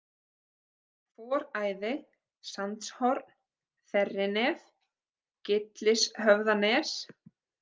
Foræði, Sandshorn, Þerrinef, Gyllishöfðanes